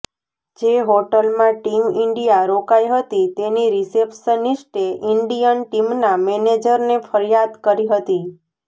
જે હોટલમાં team India રોકાઇ હતી તેની રિસેપ્શનિસ્ટે ઇન્ડીયન ટીમના મેનેજરને ફરીયાદ કરી હતી